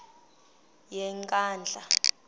yenkandla